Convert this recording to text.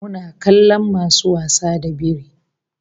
Muna kallon masu wasa da biri